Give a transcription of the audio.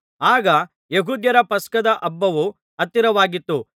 ಆಗ ಯೆಹೂದ್ಯರ ಪಸ್ಕದ ಹಬ್ಬವು ಹತ್ತಿರವಾಗಿತ್ತು